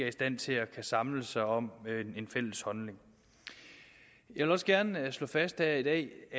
af stand til at samle sig om en fælles holdning jeg vil også gerne slå fast her i dag